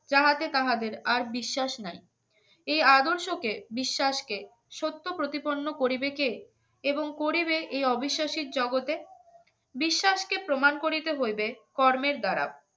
চাহাতে তাহাদের আর বিশ্বাস নাই এ আদর্শকে বিশ্বাসকে সত্য প্রতিপন্ন করিবে কে এবং করিবে এই অবিশ্বাসের জগতে বিশ্বাসকে প্রমাণ করিতে হইবে কর্মের দ্বারা